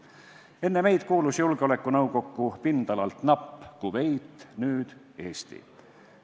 Enne meid kuulus Julgeolekunõukokku pindalalt napp Kuveit, nüüd Eesti.